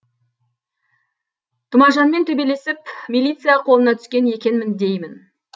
тұмажанмен төбелесіп милиция қолына түскен екенмін деймін